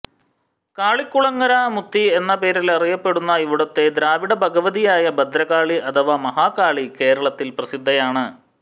കാളികുളങ്ങര മുത്തി എന്ന പേരിൽ അറിയപ്പെടുന്ന ഇവിടുത്തെ ദ്രാവിഡ ഭഗവതിയായ ഭദ്രകാളി അഥവാ മഹാകാളി കേരളത്തിൽ പ്രസിദ്ധയാണ്